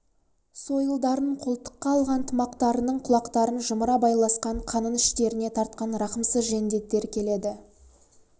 сойылдарын қолтыққа алған тымақтарының құлақтарын жымыра байласқан қанын іштеріне тартқан рахымсыз жендеттер келеді